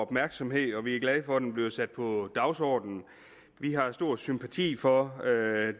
opmærksomhed og vi er glade for at den bliver sat på dagsordenen vi har stor sympati for